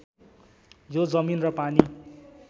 यो जमिन र पानी